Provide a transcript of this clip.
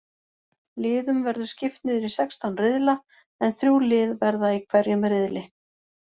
Liðum verður skipt niður í sextán riðla en þrjú lið verða í hverjum riðli.